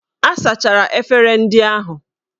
A sachara efere ndị ahụ?